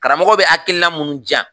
Karamɔgɔ bɛ akiina mun di yan